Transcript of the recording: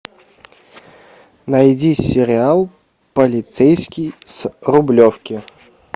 найди сериал полицейский с рублевки